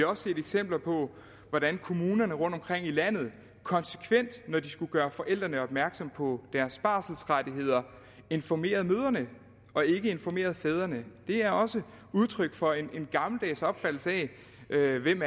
også set eksempler på hvordan kommunerne rundtomkring i landet konsekvent når de skulle gøre forældrene opmærksomme på deres barselsrettigheder informerede mødrene og ikke informerede fædrene det er også udtryk for en gammeldags opfattelse af hvem